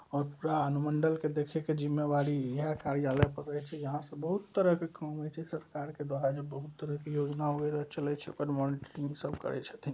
और पूरा अनुमंडल के देखे के जिम्मेवारी इहै कार्यालय पर रहै छै। यहाँ से बहुत तरह के काम होय छै। सरकार के द्वारा जे बहुत तरह के योजना वगैरा चलई छै ओकर मोनिट्रिंग इ सब करई छै ।